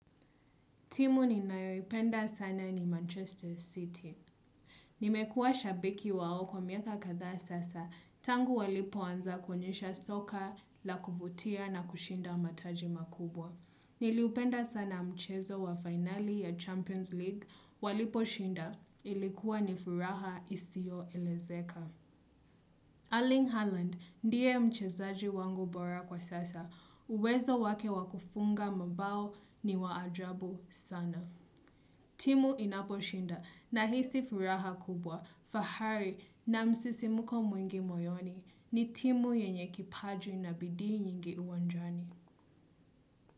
Timu ni nayoipenda sana ni Manchester City. Nimekua shabiki wao kwa miaka kadhaa sasa, tangu walipo anza kuonyesha soka la kuvutia na kushinda mataji makubwa. Niliupenda sana mchezo wa finali ya Champions League walipo shinda, ilikuwa nifuraha isioelezeka. Erling Haaland, ndiye mchezaji wangu bora kwa sasa, uwezo wake wakufunga mabao ni waajabu sana. Timu inaposhinda nahisi furaha kubwa, fahari na msisimko mwingi moyoni ni timu yenye kipaji na bidii nyingi uwanjani.